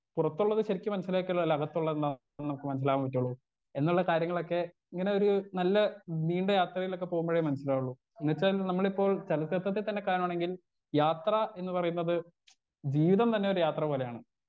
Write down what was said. Speaker 1 പുറത്തുള്ളത് ശെരിക്ക് മനസ്സിലാക്കിയാലല്ലേ അകത്തുള്ളതെന്താണ് നമുക്ക് മനസ്സിലാവാൻ പറ്റുള്ളൂ എന്നുള്ള കാര്യങ്ങളൊക്കെ ഇങ്ങനൊരു നല്ല നീണ്ട യാത്രയിലൊക്കെ പോകുമ്പഴേ മനസ്സിലാവുള്ളൂ എന്ന് വെച്ചാൽ നമ്മളിപ്പോൾ കാണാണെങ്കിൽ യാത്രാ എന്ന് പറയുന്നത് ജീവിതം തന്നെ ഒരു യാത്ര പോലെയാണ്.